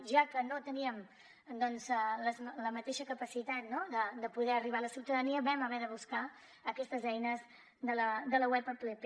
ja que no teníem la mateixa capacitat de poder arribar a la ciutadania vam haver de buscar aquestes eines de la web app